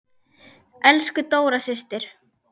Elsku Dóra systir.